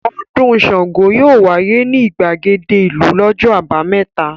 Ọdún Ṣàngó yóò wáyé ní ìgbàgede ìlú lọ́jọ́ àbámẹ́ta.